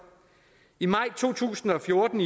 i maj to tusind og fjorten